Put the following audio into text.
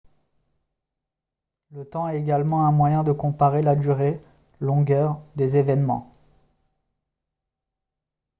le temps est également un moyen de comparer la durée longueur des événements